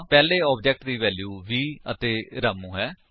ਪਹਿਲੇ ਆਬਜੇਕਟ ਦੀ ਵੈਲਿਊਜ 20 ਅਤੇ ਰਾਮੂ ਹਨ